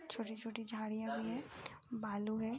छोटी छोटी झाड़ियाँ भी हैं। भालू है।